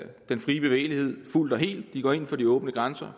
den frie bevægelighed fuldt og helt de går ind for de åbne grænser